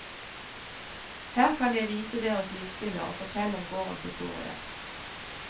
Her kan jeg vise dere lysbilder og fortelle om gårdens historie.